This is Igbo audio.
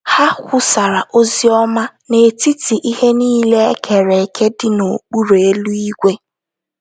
Ha kwusara ozi ọma “ n’etiti ihe niile e kere eke dị n’okpuru eluigwe. ”